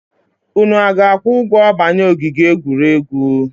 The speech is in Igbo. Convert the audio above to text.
Unu a ga-akwụ ụgwọ banye ogige egwuregwu?